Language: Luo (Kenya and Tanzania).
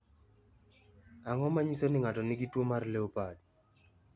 Ang’o ma nyiso ni ng’ato nigi tuwo mar LEOPARD?